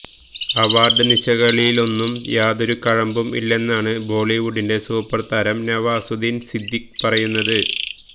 award നിശകളിലൊന്നും യാതൊരു കഴമ്പും ഇല്ലെന്നാണ് ബോളിവുഡിന്റെ സൂപ്പര് താരം നവാസുദ്ദീന് സിദ്ധിഖി പറയുന്നത്